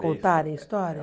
Contarem história?